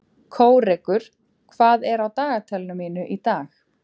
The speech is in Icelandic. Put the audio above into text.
Kórekur, hvað er á dagatalinu mínu í dag?